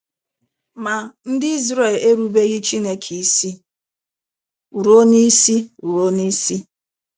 Ma, ndị Izrel erubereghị Chineke isi ruo n’isi ruo n’isi.